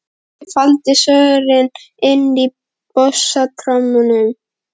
Ég faldi svörin inni í bassatrommunni.